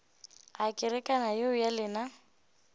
a kerekana yeo ya lena